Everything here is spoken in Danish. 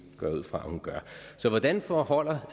går jeg ud fra at hun gør så hvordan forholder